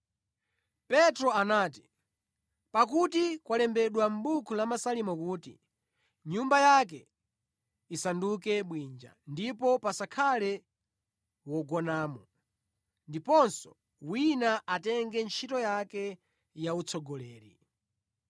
Petro anati, “Pakuti kwalembedwa mʼbuku la Masalimo kuti, “Nyumba yake isanduke bwinja, ndipo pasakhale wogonamo. Ndiponso, “Wina atenge ntchito yake yautsogoleri.